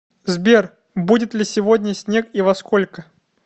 сбер будет ли сегодня снег и во сколько